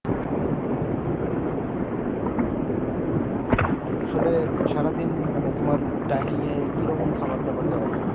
আসলে সারা দিন মানে তোমার dinning কি রকম খাবার দাবার দেওয়া হয়